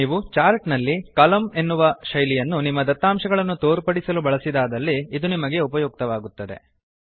ನೀವು ಚಾರ್ಟ್ ನಲ್ಲಿ ಕಾಲಮ್ನ ಎಂಬ ಶೈಲಿಯನ್ನು ನಿಮ್ಮ ದತ್ತಾಂಶಗಳನ್ನು ತೋರ್ಪಡಿಸಲು ಬಳಸಿದಾದಲ್ಲಿ ಇದು ನಿಮಗೆ ಉಪಯುಕ್ತವಾಗುತ್ತದೆ